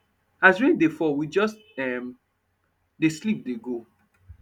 as rain dey fall we just um dey sleep dey go